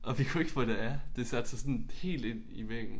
Og vi kunne ikke få det af. Det satte sig sådan helt ind i væggen